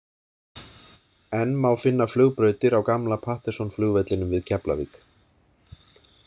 Enn má finna flugbrautir á gamla Patterson-flugvellinum við Keflavík.